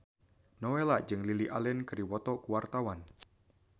Nowela jeung Lily Allen keur dipoto ku wartawan